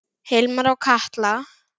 Hilmar og Katla.